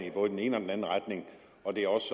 i både den ene og den anden retning og det er også